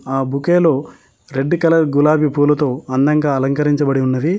ఆ బుకేలో red colour గులాబీ పూలతో అందంగా అలంకరించబడి ఉన్నవి.